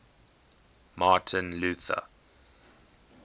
martin luther